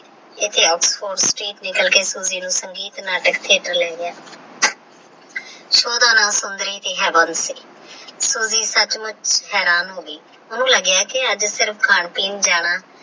ਇੱਥੇ ਆਉ Soji ਨਿੱਕਲ ਕੇ Threatre ਨੂੰ ਸੰਗੀਤ ਨਾਟਕ Threatre ਲੈ ਗਿਆ ਉਹਦਾ ਨਾ Sunder ਸੀ Soji ਸੱਚਮੁੱਚ ਹੈਰਾਨ ਹੋ ਗਈ ਉਹਨੂੰ ਲੱਗਿਆ ਕਿਆਜ ਸਿਰਫ ਖਾਣਾ ਪੀਣ ਜਾਣਾ।